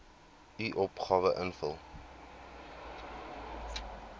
u opgawe invul